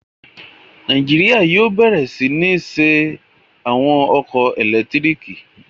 Nàìjíríyà yóò bẹ̀rẹ̀ sí ní ṣe àwọn ọkọ̀ ẹlẹtíríkì